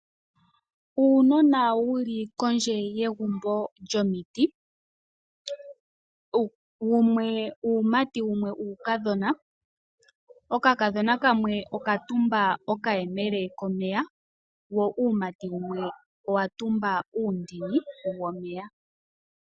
Uunona wu li kondje yegumbo lyomiti, wumwe uumati, wumwe uukadhona. Okakadhona kamwe oka tumba okayemele komeya, wo uumati wumwe owa tumba uundini womeya.